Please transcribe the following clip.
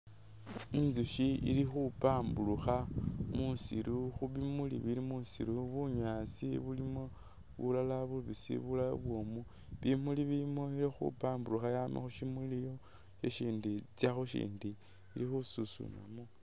Intsukhi khempamburukha musiru khubimuli bili musiru, bunyaasi bulimo bulala bubisi bulala bubwomu, bimuli bilimo khempamburukha Yama khusimulidhi itsa khushindi ili khususunamo